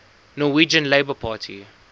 norwegian labour party